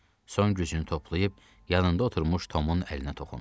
Son gücünü toplayıb yanında oturmuş Tomun əlinə toxundu.